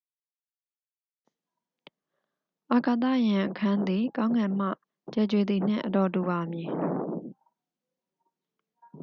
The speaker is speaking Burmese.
အာကာသယာဉ်အခန်းသည် ကောင်းကင်မှ ကြယ်ကြွေသည်နှင့် အတော်တူပါမည်